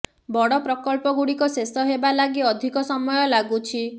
ବଡ ପ୍ରକଳ୍ପଗୁଡିକ ଶେଷ ହେବା ଲାଗି ଅଧିକ ସମୟ ଲାଗୁଛି